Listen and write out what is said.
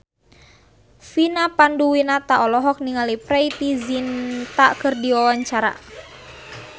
Vina Panduwinata olohok ningali Preity Zinta keur diwawancara